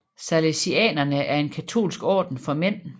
Salesianerne er en katolsk orden for mænd